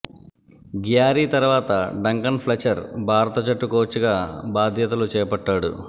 Gary తరువాత Duncan Fletcher భారత జట్టు కోచ్ గా బాధ్యతలు చేపట్టాడు